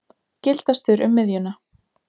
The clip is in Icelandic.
Gildastur um miðjuna.